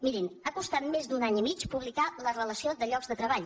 mirin ha costat més d’un any i mig pu blicar la relació de llocs de treball